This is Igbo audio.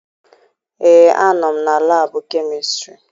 Ee, anọ m na laabụ kemistịrị.